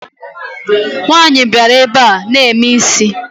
Nwaanyi biara na ebe ana eme isi